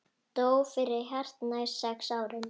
Dó fyrir hartnær sex árum.